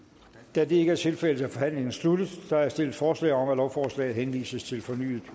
da det ikke er tilfældet er forhandlingen sluttet der er stillet forslag om at lovforslaget henvises til fornyet